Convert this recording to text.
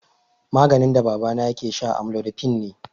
Maganin da babana yake sha amlodipine ne.